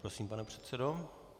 Prosím, pane předsedo.